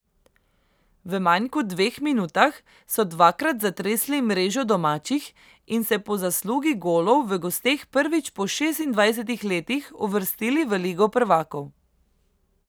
V manj kot dveh minutah so dvakrat zatresli mrežo domačih in se po zaslugi golov v gosteh prvič po šestindvajsetih letih uvrstili v ligo prvakov.